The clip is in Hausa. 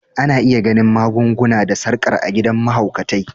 Ana iya ganin magun-guna da sarkar a gidan mahaukatai.